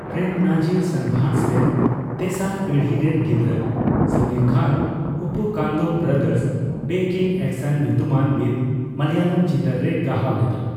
ᱯᱨᱮᱹᱢ ᱱᱟᱡᱤᱨ ᱥᱟᱱᱵᱷᱟᱥ ᱨᱮᱱ ᱛᱮᱥᱟᱨ ᱯᱤᱲᱦᱤ ᱨᱮᱱ ᱜᱤᱫᱽᱨᱟᱹ Samir Khan, Uppukandam brothers back in action ᱧᱩᱛᱩᱢᱟᱱ ᱢᱤᱫ ᱢᱟᱞᱭᱟᱞᱚᱢ ᱪᱤᱛᱟᱹᱨ ᱨᱮᱭ ᱜᱟᱦᱟᱣ ᱞᱮᱫᱟ ᱾